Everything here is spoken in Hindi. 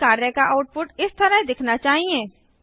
नियत कार्य का आउटपुट इस तरह दिखना चाहिए